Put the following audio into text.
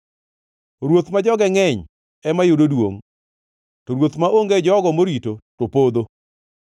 Ruoth ma joge ngʼeny ema yudo duongʼ, to ruoth maonge jogo morito to podho.